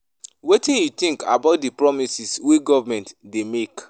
Wetin you think about di promises wey government dey make?